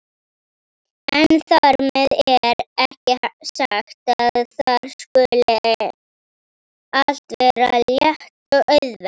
En þar með er ekki sagt að þar skuli allt vera létt og auðvelt.